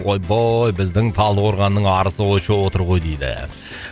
ой бой біздің талдықорғанның арысы очоу отыр ғой дейді